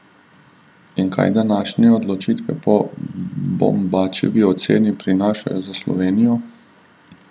In kaj današnje odločitve po Bombačevi oceni prinašajo za Slovenijo?